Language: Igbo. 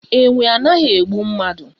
Enwe anaghi egbu mmadu